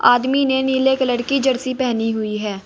आदमी ने नीले कलर की जर्सी पहनी हुई है।